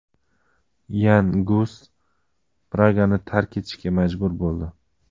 Yan Gus Pragani tark etishga majbur bo‘ldi.